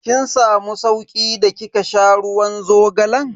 Kin samu sauki da kika sha ruwan zogalan?